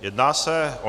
Jedná se o